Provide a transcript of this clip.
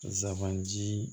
Zaban ji